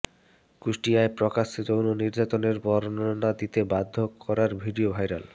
কুষ্টিয়ায় প্রকাশ্যে যৌন নির্যাতনের বর্ণনা দিতে বাধ্য করার ভিডিও ভাইরাল